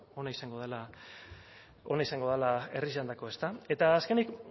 ona izango dela herriarentzako ezta eta azkenik